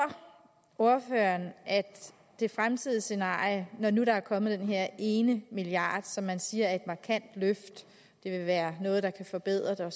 ordføreren at det fremtidige scenarie når nu der er kommet den her ene milliard som man siger er et markant løft vil være noget der kan forbedre